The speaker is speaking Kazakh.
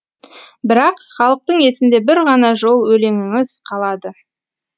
бірақ халықтың есінде бір ғана жол өлеңіңіз қалады